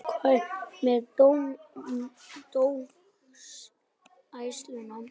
Hvað með dómgæsluna?